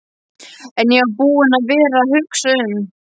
En ég var búinn að vera að hugsa um.